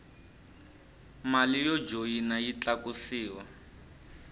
mali yo joyina yi tlakusiwa